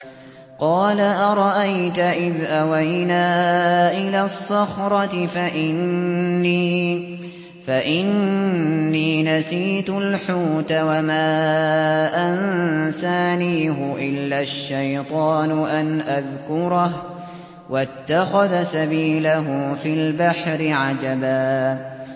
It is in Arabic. قَالَ أَرَأَيْتَ إِذْ أَوَيْنَا إِلَى الصَّخْرَةِ فَإِنِّي نَسِيتُ الْحُوتَ وَمَا أَنسَانِيهُ إِلَّا الشَّيْطَانُ أَنْ أَذْكُرَهُ ۚ وَاتَّخَذَ سَبِيلَهُ فِي الْبَحْرِ عَجَبًا